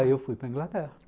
Aí eu fui para a Inglaterra.